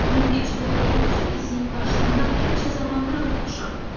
Mən bircə dəfə də olsun ki, sinif qarşısında cəzalandırılmamışam.